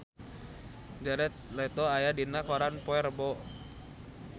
Jared Leto aya dina koran poe Rebo